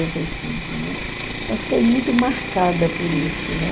e cinco, né? Então eu fiquei muito marcada por isso, né?